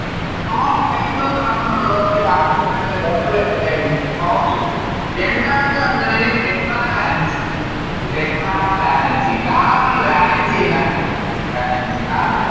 Small size of carbon ഒള്ളവരുടെ Bond കൾ എന്തായിരിക്കും Strong ആയിരിക്കും രണ്ടാമത്തെ വന്നിട്ടാണെങ്കിൽ Tetra valency tetra valency carbon valency എന്താണ് valencyCarbon ൻറെ